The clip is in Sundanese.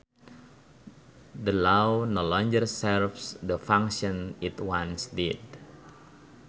The law no longer serves the function it once did